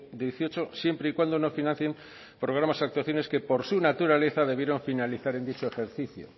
dieciocho siempre y cuando no financien programas y actuaciones que por su naturaleza debieron finalizar en dicho ejercicio